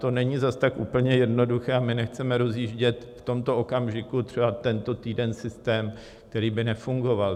To není zas tak úplně jednoduché a my nechceme rozjíždět v tomto okamžiku, třeba tento týden, systém, který by nefungoval.